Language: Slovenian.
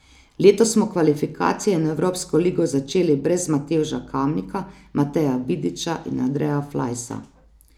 Letos smo kvalifikacije in evropsko ligo začeli brez Matevža Kamnika, Mateja Vidiča in Andreja Flajsa.